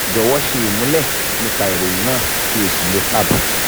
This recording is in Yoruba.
jọ̀wọ́ ṣe ìmúlẹ̀ nípa ìròyìn náà kí o sì lò tab